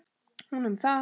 Hún um það.